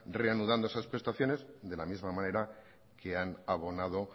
reanudando esas prestaciones de la misma manera que han abonado